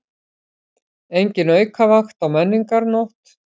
Engin aukavakt á Menningarnótt